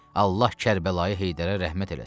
Allah Kərbəlayı Heydərə rəhmət eləsin.